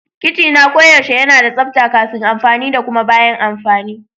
Kicina koyaushe yana da tsabta kafin amfani da kuma bayan amfani.